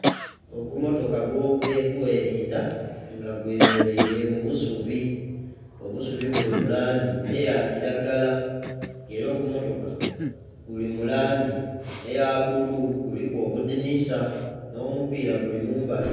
Ogumootoka ogwobyokweridha nga gwemereire mubusuubi obusuubi obulimulangyi eyakyiragala era ogumootoka gulimulangyi eyabulu luliku obudinisa nhomupira gulimumbali